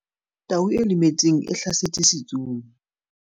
Tau e lemetseng e hlasetse setsomi.